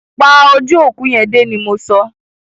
Pa ojú òkú yẹn dé! ni mọ so.